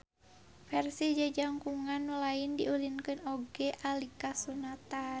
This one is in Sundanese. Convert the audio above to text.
Versi jajangkungan nu lain diulinkeun oge alika sunatan